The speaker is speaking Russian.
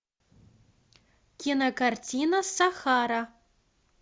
кинокартина сахара